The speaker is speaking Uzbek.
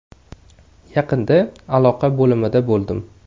Yaqinda aloqa bo‘limida bo‘ldim.